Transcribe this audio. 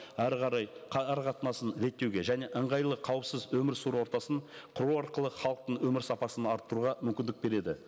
әрі қарай ара қатынасын реттеуге және ыңғайлы қауіпсіз өмір сүру ортасын құру арқылы халықтың өмір сапасын арттыруға мүмкіндік береді